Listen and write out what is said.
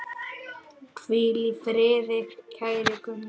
Hvíl í friði, kæri Gunnar.